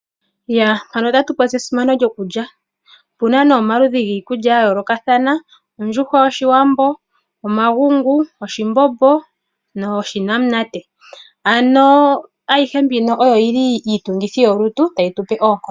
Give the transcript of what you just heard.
Esimano lyokulya. Opu na omaludhi giikulya ya yoolokathana ngaashi ondjushwa yoshiwambo, omagungu, oshimbombo noshinanate. Ayihe mbika oyi li iitungithi yolutu tayi tu pe oonkondo.